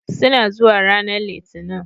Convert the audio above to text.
Suna zuwa ranar Litinin